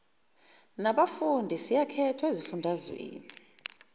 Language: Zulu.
nabafundi siyakhethwa ezifundazweni